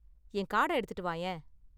என் கார்டை எடுத்துட்டு வாயேன்.